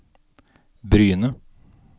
Bryne